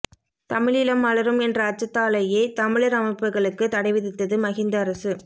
தமிழீழம் மலரும் என்ற அச்சத்தாலேயே தமிழர் அமைப்புகளுக்கு தடைவிதித்தது மஹிந்த அரசு